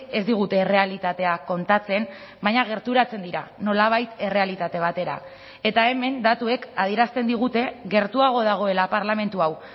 ez digute errealitatea kontatzen baina gerturatzen dira nolabait errealitate batera eta hemen datuek adierazten digute gertuago dagoela parlamentu hau